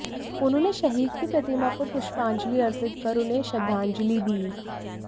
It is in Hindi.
उन्होंने शहीद की प्रतिमा पर पुष्पांजलि अर्पित कर उन्हें श्रद्धांजलि दी